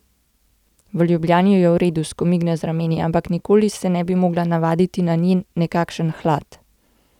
V Ljubljani je v redu, skomigne z rameni, ampak nikoli se ni mogla navaditi na njen, nekakšen, hlad.